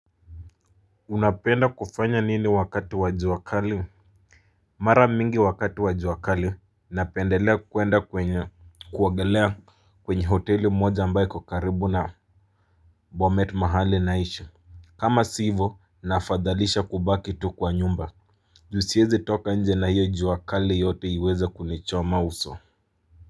Unapenda kufanya nini wakati wa jua kali Mara mingi wakati wa jua kali napendelea kuenda kwenye kuogelea kwenye hoteli moja ambayo iko karibu na Bomet mahali naishi. Kama si hivo nafadhalisha kubaki tu kwa nyumba juu siwezi toka nje na hiyo jua kali yote iweze kunichoma uso.